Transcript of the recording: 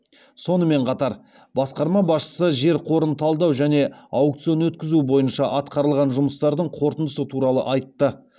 сонымен қатар басқарма басшысы жер қорын талдау және аукцион өткізу бойынша атқарылған жұмыстардың қорытындысы туралы айтты